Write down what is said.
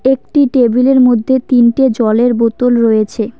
একটি টেবিল -এর মধ্যে তিনটে জলের বোতল রয়েছে।